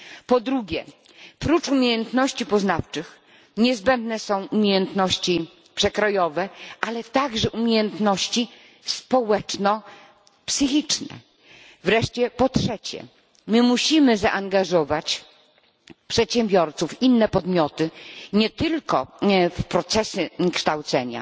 Po drugie oprócz umiejętności poznawczych niezbędne są umiejętności przekrojowe, ale także umiejętności społeczno psychiczne. Wreszcie po trzecie musimy nie tylko zaangażować przedsiębiorców i inne podmioty w procesy kształcenia,